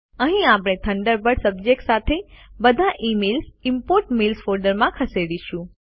અહીં આપણે Thunderbird subject સાથે બધા મેઈલ ઇમ્પોર્ટન્ટ મેઇલ્સ ફોલ્ડરમાં ખસેડીશું